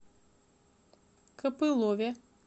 копылове